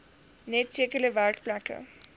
net sekere werkplekke